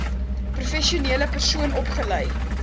professionele persoon opgelei